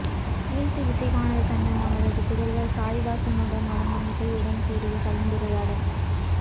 ஈழத்து இசைவாணர் கண்ணன் அவரது புதல்வர் சாயிதாசனுடன் வழங்கும் இசையுடன் கூடிய கலந்துரையாடல்